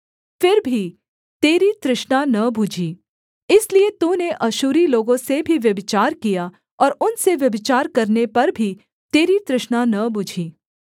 फिर भी तेरी तृष्णा न बुझी इसलिए तूने अश्शूरी लोगों से भी व्यभिचार किया और उनसे व्यभिचार करने पर भी तेरी तृष्णा न बुझी